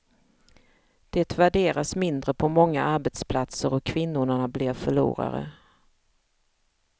Det värderas mindre på många arbetsplatser, och kvinnorna blir förlorare.